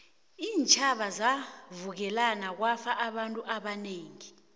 iintjhaba zavukelana kwafa abantu abanengi